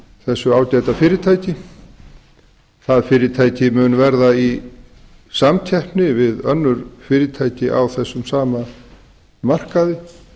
þessu ágæta fyrirtæki það fyrirtæki mun verða í samkeppni við önnur fyrirtæki á þessum sama markaði